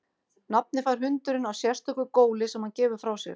Nafnið fær hundurinn af sérstöku góli sem hann gefur frá sér.